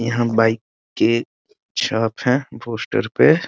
यहां बाइक के छाप हैं पोस्टर पे।